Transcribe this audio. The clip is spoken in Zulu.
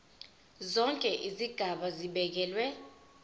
zonke izigaba zibekelwe